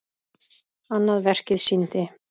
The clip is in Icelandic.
Annað verkið sýndi